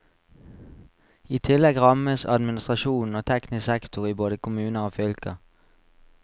I tillegg rammes administrasjon og teknisk sektor i både kommuner og fylker.